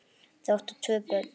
Þau áttu tvö börn.